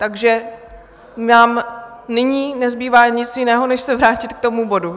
Takže nám nyní nezbývá nic jiného než se vrátit k tomu bodu.